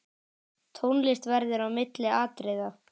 Tónlist verður á milli atriða.